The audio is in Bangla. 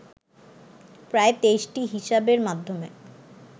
প্রায় ২৩টি হিসাবের মাধ্যমে